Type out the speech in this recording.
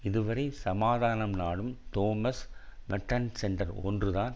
இதுவரை சமாதானம் நாடும் தோமஸ் மெர்ட்டன் சென்டர் ஒன்றுதான்